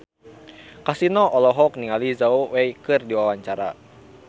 Kasino olohok ningali Zhao Wei keur diwawancara